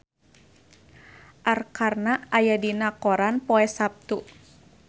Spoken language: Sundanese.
Arkarna aya dina koran poe Saptu